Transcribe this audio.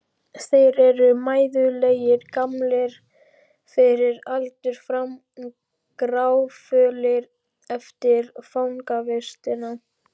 Þeir eru mæðulegir, gamlir fyrir aldur fram, gráfölir eftir fangavistina.